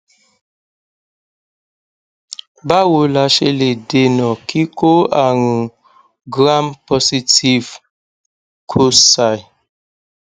bawo la se le dena kiko arun gram positive cocci